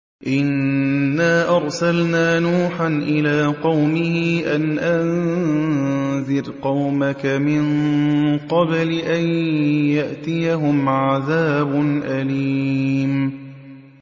إِنَّا أَرْسَلْنَا نُوحًا إِلَىٰ قَوْمِهِ أَنْ أَنذِرْ قَوْمَكَ مِن قَبْلِ أَن يَأْتِيَهُمْ عَذَابٌ أَلِيمٌ